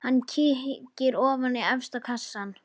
Hann kíkir ofan í efsta kassann.